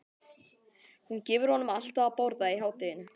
Hún gefur honum alltaf að borða í hádeginu.